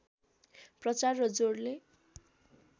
प्रचार र जोडले